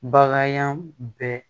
Baganyan bɛ